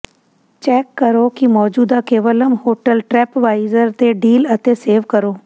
check ਕਰੋ ਕਿ ਮੌਜੂਦਾ ਕੋਵਲਮ ਹੋਟਲ ਟ੍ਰੈਪਵਾਇਜ਼ਰ ਤੇ ਡੀਲ ਅਤੇ ਸੇਵ ਕਰੋ